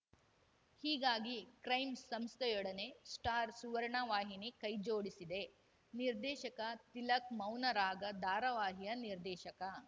ಹೀಗಾಗಿ ಕ್ರೈ ಸಂಸ್ಥೆಯೊಡನೆ ಸ್ಟಾರ್‌ ಸುವರ್ಣ ವಾಹಿನಿ ಕೈ ಜೋಡಿಸಿದೆ ನಿರ್ದೇಶಕ ತಿಲಕ್‌ ಮೌನರಾಗ ಧಾರಾವಾಹಿಯ ನಿರ್ದೇಶಕ